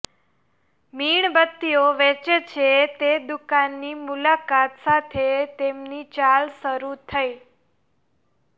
મીણબત્તીઓ વેચે છે તે દુકાનની મુલાકાત સાથે તેમની ચાલ શરૂ થઈ